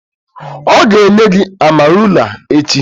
O ga enye gi amarula echi